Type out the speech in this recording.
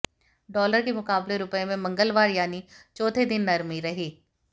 dollar के मुकाबले रुपये में मंगलवार यानी चौथे दिन नरमी रही